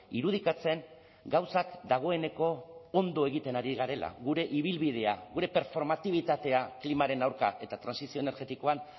irudikatzen gauzak dagoeneko ondo egiten ari garela gure ibilbidea gure performatibitatea klimaren aurka eta trantsizio energetikoan